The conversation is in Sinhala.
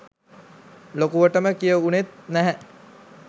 ලොකුවටම කිය උනෙත් නැහැ